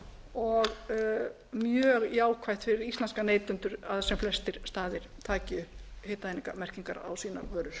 og mjög jákvætt fyrir íslenska neytendur að sem flestir staðir taki upp hitaeiningamerkingar á sínar vörur